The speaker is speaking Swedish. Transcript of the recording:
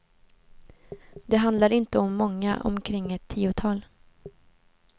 Det handlar inte om många, omkring ett tiotal.